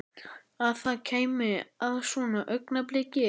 Að það kæmi að svona augnabliki.